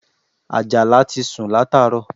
Àjàná ti sun láàárọ̀